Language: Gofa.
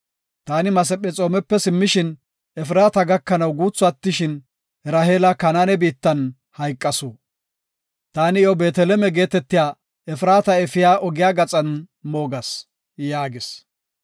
Taani Masephexoomepe simmishin, Efraata gakanaw guuthi attishin, Raheela Kanaane biittan hayqasu. Taani iyo Beeteleme geetetiya Efraata efiya ogiya gaxan moogas” yaagis.